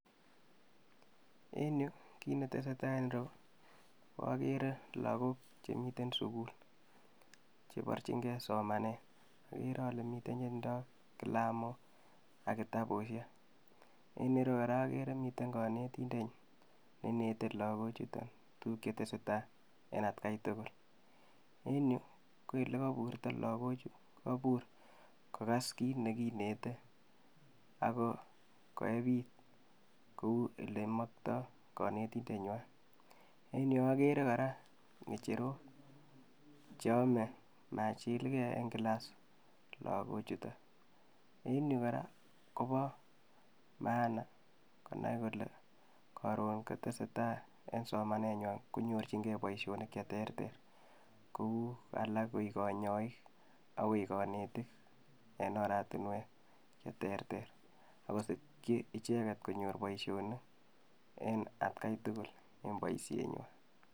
Kit netesetai en ireu akere logok ab sugul cheborchinge somanet, mitten chetindo kilamok ak kitabusiek, en ireyu akere miten konetindet neinete logochuton tuguk chetesetai en etkai tugul, en yu ko elekoburton logochu kokobur kogas kit nekiinete ak koeb it kou ele mokto konetindenywan. En yuu okere kora ngecherok cheome machilke logok en klas yuton. Okere kinete konai akobo maana Nebo somanet, kimuche koik konyoik ak kanetik en oratinwek Cheterter, ak missing konyor icheget boisionik cheterter.